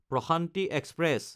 Prashanti express